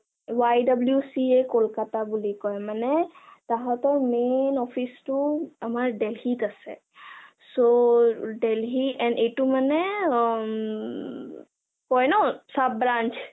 YWCA Kolkata বুলি কয়, মানে তাঁহাতৰ main office টো আমাৰ দিল্লীত আছে so দিল্লী and এইটো মানে উমম কয় ন sub-brunch